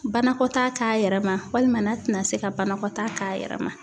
Banakɔtaa k'a yɛrɛ ma walima n'a tɛna se ka banakɔtaa k'a yɛrɛ ma.